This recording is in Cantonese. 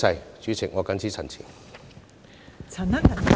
代理主席，我謹此陳辭。